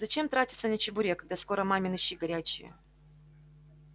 зачем тратиться на чебурек когда скоро мамины щи горячие